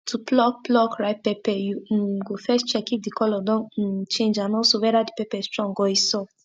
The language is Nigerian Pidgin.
teach your workers how dem go dey harvest crops gently so dem no go press down or spoil di garden paths of di soil.